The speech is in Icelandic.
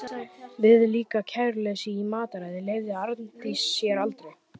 Viðlíka kæruleysi í mataræði leyfði Arndís sér aldrei.